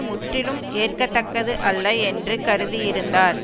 முற்றிலும் ஏற்கத்தக்கது அல்ல என்று கருதியிருந்தார்